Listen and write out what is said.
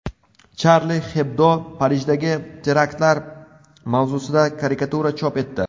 Charlie Hebdo Parijdagi teraktlar mavzusida karikatura chop etdi.